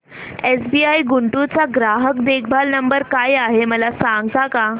SBI Guntur चा ग्राहक देखभाल नंबर काय आहे मला सांगता का